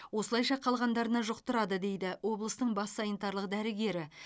осылайша қалғандарына жұқтырады дейді облыстың бас санитарлық дәрігері